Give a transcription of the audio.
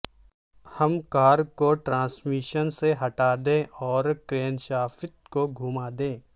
ہم کار کو ٹرانسمیشن سے ہٹا دیں اور کرینشافت کو گھوم دیں